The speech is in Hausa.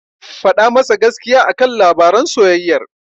Faɗa masa gaskiya a kan labaran soyayyar.